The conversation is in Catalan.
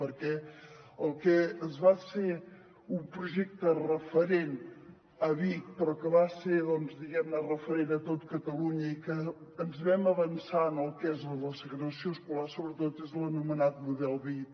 perquè el que va ser un projecte referent a vic però que va ser referent a tot catalunya i que ens vam avançar en el que és la segregació escolar sobretot és l’anomenat model vic